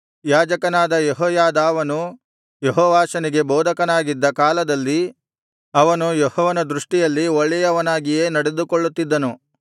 ಯಾಜಕನಾದ ಯೆಹೋಯಾದಾವನು ಯೆಹೋವಾಷನಿಗೆ ಬೋಧಕನಾಗಿದ್ದ ಕಾಲದಲ್ಲಿ ಅವನು ಯೆಹೋವನ ದೃಷ್ಟಿಯಲ್ಲಿ ಒಳ್ಳೆಯವನಾಗಿಯೇ ನಡೆದುಕೊಳ್ಳುತ್ತಿದ್ದನು